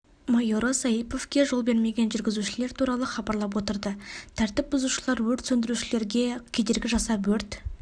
майоры саиповке жол бермеген жүргізушілер туралы хабарлап отырды тәртіп бұзушылар өрт сөндірушілерге кедергі жасап өрт